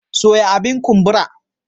Soya abin kumbura.